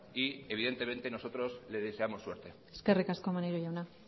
y evidentemente nosotros le deseamos suerte eskerrik asko maneiro jauna